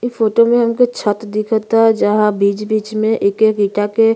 इ फोटो में हमको छत दिखता। जहाँ बिच-बिच में एक-एक ईटा के --